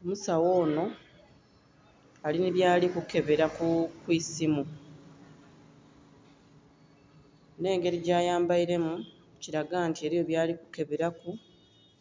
Omusawo onho ali nhi byali kukebela ku isimu. Nh'engeli gya yambailemu kilaga nti eliyo byali kukebelaku